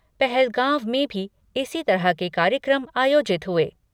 पहलगांव में भी इसी तरह के कार्यक्रम आयोजित हुए।